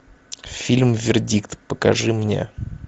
фильм вердикт покажи мне